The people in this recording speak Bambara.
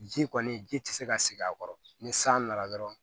Ji kɔni ji tɛ se ka sigi a kɔrɔ ni san nana dɔrɔn